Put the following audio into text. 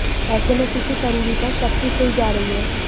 ऐसे में किसी करीबी पर शक की सुई जा रही है